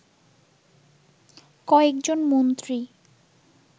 কয়েকজন মন্ত্রী